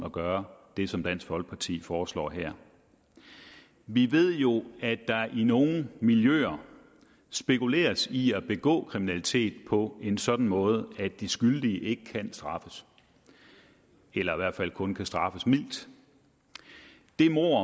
at gøre det som dansk folkeparti foreslår her vi ved jo at der i nogle miljøer spekuleres i at begå kriminalitet på en sådan måde at de skyldige ikke kan straffes eller i hvert fald kun kan straffes mildt det mord